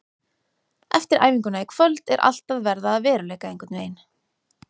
Eftir æfinguna í kvöld er allt að verða að veruleika einhvern veginn.